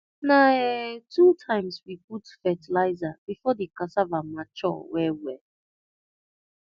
na um two times we put fertilizer before the cassava mature well well